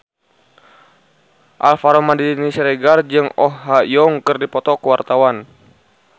Alvaro Maldini Siregar jeung Oh Ha Young keur dipoto ku wartawan